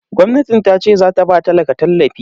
Gwamnatin tace zata ba talaka tallafi